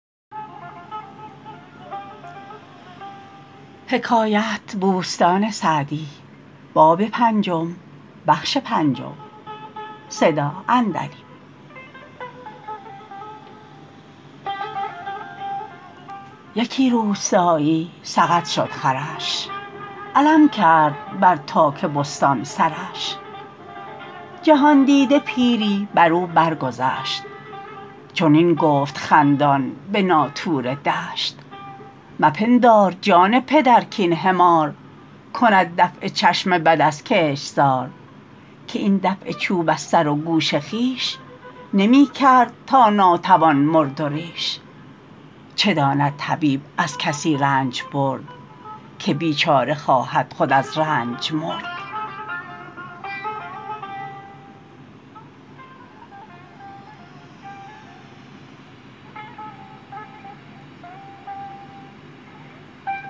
یکی روستایی سقط شد خرش علم کرد بر تاک بستان سرش جهاندیده پیری بر او بر گذشت چنین گفت خندان به ناطور دشت مپندار جان پدر کاین حمار کند دفع چشم بد از کشتزار که این دفع چوب از سر و گوش خویش نمی کرد تا ناتوان مرد و ریش چه داند طبیب از کسی رنج برد که بیچاره خواهد خود از رنج مرد